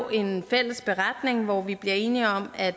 en fælles beretning hvor vi bliver enige om at